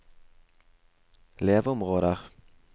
leveområder